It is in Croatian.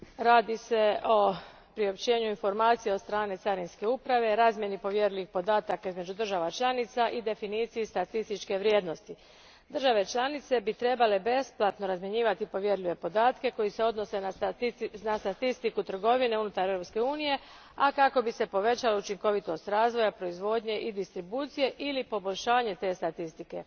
Gospodine predsjedniče, radi se o priopćenju informacija od strane carinske uprave, razmjeni povjerljivih podataka između država članica i definiciji statističke vrijednosti. Države članice bi trebale besplatno razmjenjivati povjerljive podatke koji se odnose na statistiku trgovine unutar Europske unije, a kako bi se povećala učinkovitost razvoja, proizvodnje i distribucije ili poboljšanje te statistike.